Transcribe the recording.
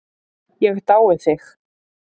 Ég dái þig.